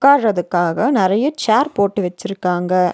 உக்காரதுக்காக நெறைய சேர் போட்டு வெச்சுருக்காங்க.